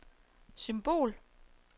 symbol